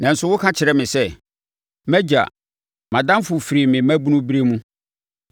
Nanso, woka kyerɛ me sɛ: ‘Mʼagya, mʼadamfo firi me mmabunuberɛ mu,